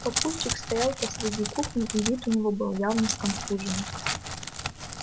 папульчик стоял посреди кухни и вид у него был явно сконфуженный